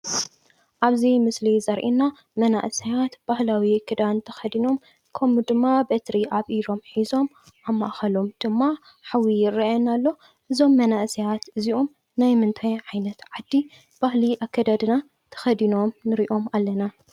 ኣብዚ ምስሊ ዘርእየና መናእሰያት ባህላዊ ክዳን ተኸዲኖም ከምኡ ድማ በትሪ ኣብ ኢዶም ሒዞም ኣብ ማእኸሎም ድማ ሓዊ ይርኣየና ኣሎ፡፡ እዞም መናእሰያት እዚኦም ናይ ምንታይ ዓይነት ዓዲ ባህሊ ኣከዳድና ተኸዲኖም ንሪኦም ኣለና?